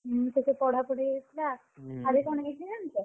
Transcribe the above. ମୁଁ ସେ ତ ପଢାପଢି ଥିଲା, ଆଡେ କ'ଣ ହେଇଛି ଜାଣିଛ?